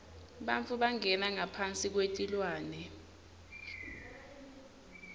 bantfu bangena ngaphasi kwetilwane